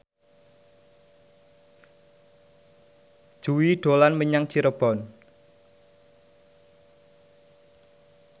Jui dolan menyang Cirebon